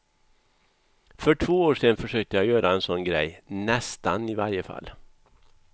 För två år sedan försökte jag göra en sådan grej, nästan i varje fall.